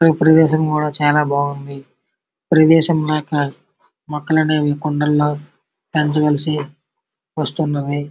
ఈ ప్రదేశం కూడా చాలా బాగుంది. ప్రదేశం మొక్కలనేవి కుండీలల్లో పెంచవలసి వస్తున్నది.